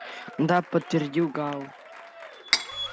да подтвердил гаал